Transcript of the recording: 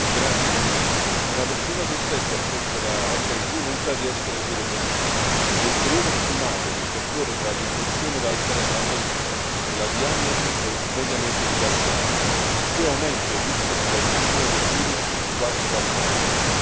Signora Presidente, onorevoli colleghi, una persona su sette affetta da HIV non sa di essere sieropositiva e il periodo stimato che intercorre tra l'infezione da HIV e la diagnosi è mediamente di quattro anni, il che aumenta il rischio di trasmissione del virus di quasi quattro volte.